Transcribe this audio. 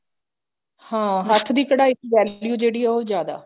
ਹਾਂ ਹੱਥ ਦੀ ਕਢਾਈ ਦੀ value ਜਿਹੜੀ ਉਹ ਜਿਆਦਾ